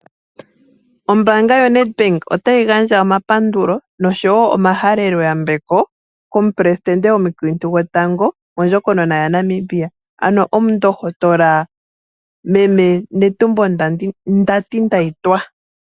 Ombaanga yoNet bank otayi gandja omapandulo nosho woo omahalelo yambeko komu presidente omukiintu gotango mondjikonona yaNamibia, ano omundohotola meme Netumbo Nandi- Ndaitwah.